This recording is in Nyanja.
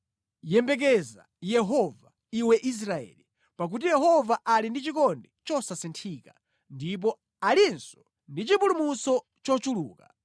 Yembekeza Yehova, iwe Israeli, pakuti Yehova ali ndi chikondi chosasinthika ndipo alinso ndi chipulumutso chochuluka.